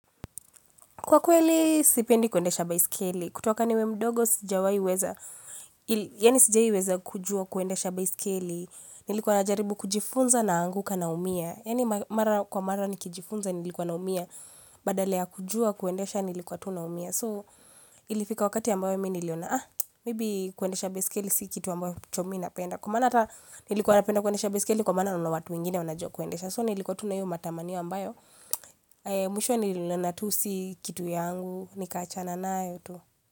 Kwa kweli sipendi kuendesha by scale, kutuaka niwe mdogo sijawai weza, yani sijai weza kujua kuendesha by scale, nilikuwa najaribu kujifunza na anguka na umia, yani mara kwa mara nikijifunza nilikuwa na umia, badala kujua kuendesha nilikuwa tu na umia. So ilifika wakati ambayo mimi iliona ah maybe kuendesha beskeli si kitu ambayo chomi napenda kumana nilikuwa napenda kuendesha beskeli kumana unawatu ingine unajokuendesha so nilikuwa tunayu matamaniwa ambayo mwisho nilionatusi kitu yangu nikachana na yoto.